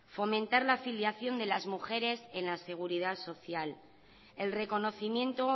fomentar la afiliación de las mujeres en la seguridad social el reconocimiento o